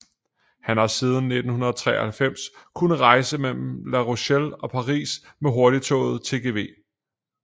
Man har siden 1993 kunnet rejse mellem La Rochelle og Paris med hurtigtoget TGV